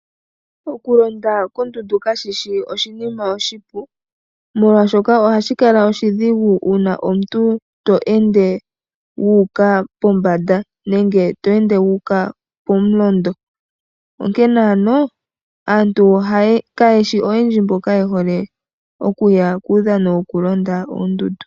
Okulonda kashishi oshinima oshipu, molwaashoka ohashi kala oshidhigu uuna omuntu to ende wu uka pombanda nenge to ende wu uka pomulondo. Onkene ano aantu kayeshi oyendji mboya yehole okuya kuudhano wokulonda oondundu.